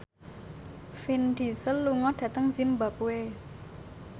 Vin Diesel lunga dhateng zimbabwe